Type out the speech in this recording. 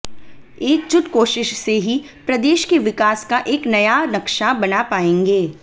एकजुट कोशिश से ही प्रदेश के विकास का एक नया नक्शा बना पाएंगे